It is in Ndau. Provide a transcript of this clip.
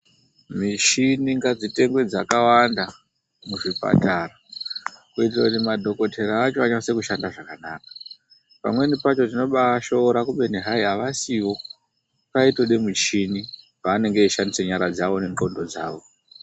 Muchini ngadzitengwe dzakawanda muzvipatara kuitira kuti madhokotera acho anyatsekushanda zvakanaka. Pamweni pakona tinomashora, kubeni hai haasiwo, paitode michini, paanenge eishandise nyara dzawo nenxondo dzawo.